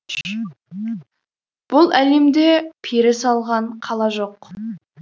бұл әлемде пері салған қала жоқ